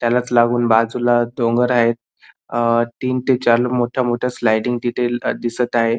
त्यालाच लागून बाजूला डोंगर आहेत अ तीन ते चार मोठ्या मोठ्या स्लायडिंग तिथे दिसत आहेत.